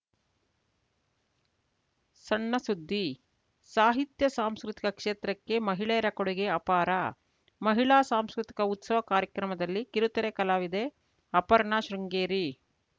ಸಣ್ಣ ಸುದ್ದಿ ಸಾಹಿತ್ಯ ಸಾಂಸ್ಕೃತಿಕ ಕ್ಷೇತ್ರಕ್ಕೆ ಮಹಿಳೆಯರ ಕೊಡುಗೆ ಅಪಾರ ಮಹಿಳಾ ಸಾಂಸ್ಕೃತಿಕ ಉತ್ಸವ ಕಾರ್ಯಕ್ರಮದಲ್ಲಿ ಕಿರುತೆರೆ ಕಲಾವಿದೆ ಅಪರ್ಣಾ ಶೃಂಗೇರಿ